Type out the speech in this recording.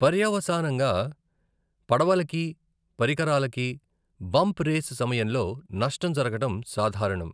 పర్యవసానంగా, పడవలకి, పరికరాలకి, బంప్ రేస్ సమయంలో నష్టం జరగడం సాధారణం .